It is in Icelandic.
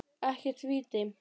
Ekkert víti.